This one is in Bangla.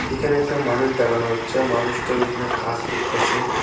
এখানে একটা মানুষ দেখানো যাচ্ছে মানুষটা ওইখানে কাজ করতেছে।